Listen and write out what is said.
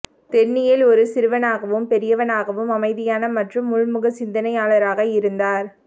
தென்னியேல் ஒரு சிறுவனாகவும் பெரியவனாகவும் அமைதியான மற்றும் உள்முக சிந்தனையாளராக இருந்தார்